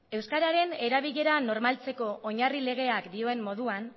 euskararen erabilera normaltzeko oinarri legeak dioen moduan